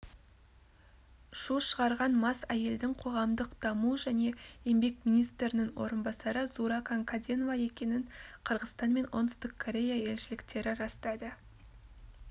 шу шығарған мас әйелдің қоғамдық даму және еңбек министрінің орынбасары зууракан каденова екенін қырғызстан мен оңтүстік корея елшіліктері растады